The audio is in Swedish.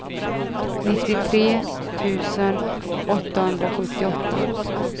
nittiotre tusen åttahundrasjuttioåtta